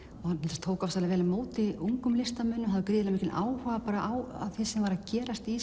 hann tók ofsalega vel á móti ungum listamönnum og hafði gríðarlegan áhuga á því sem var að gerast í